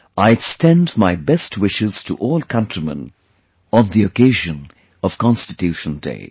I extend my best wishes to all countrymen on the occasion of Constitution Day